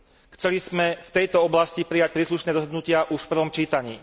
Chceli sme v tejto oblasti prijať príslušné rozhodnutia už v prvom čítaní.